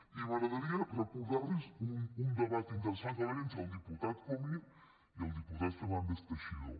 i m’agradaria recordarlos un debat interessant que va haverhi entre el diputat comín i el diputat fernández teixidó